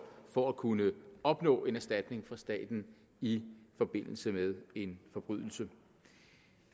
for at kunne opnå en erstatning fra staten i forbindelse med en forbrydelse